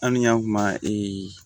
An ni y'a kuma